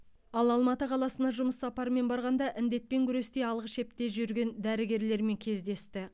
ал алматы қаласына жұмыс сапарымен барғанда індетпен күресте алғы шепте жүрген дәрігерлермен кездесті